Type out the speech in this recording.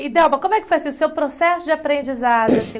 E, Delba, como é que foi assim o seu processo de aprendizagem assim?